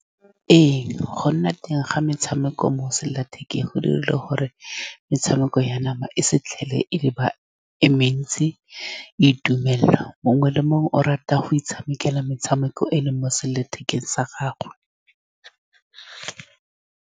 Ee, go nna teng ga metshameko mo selelathekeng go dirile gore metshameko ya nama e sa tlhole e le ba, e mentsi. Itumelelwa, mongwe le mongwe o rata go itshamekela metshameko e e leng mo selelathekeng sa gagwe.